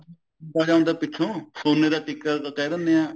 ਬਣਿਆ ਹੁੰਦਾ ਪਿੱਛੋ ਸੋਨੇ ਦਾ ਟਿੱਕਾ ਕਹਿ ਦਿੰਦੇ ਆ